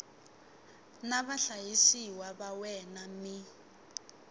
na vahlayisiwa va wena mi